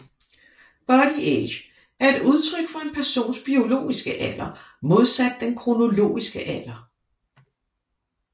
Bodyage er et udtryk for en persons biologiske alder modsat den kronologiske alder